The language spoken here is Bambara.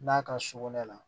N'a ka so kɔnɔ la